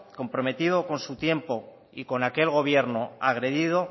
comprometido con su tiempo y con aquel gobierno agredido